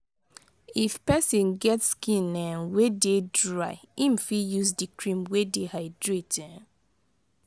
if person get skin um wey dey dry im fit use di cream wey dey hydrate um